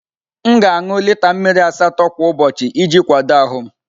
M ga-aṅụ lita mmiri asatọ kwa ụbọchị iji kwado ahụ m.